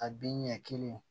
A bin ɲɛ kelen